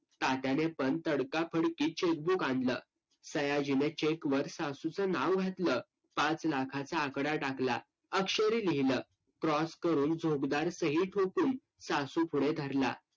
तात्याने पण तडकाफडकी cheque book आणलं. सयाजीने cheque वर सासूचं नाव घातलं. पाच लाखाचा आकडा टाकला. अक्षरी लिहिलं. cross करून सही ठोकून सासुपुढे धरला.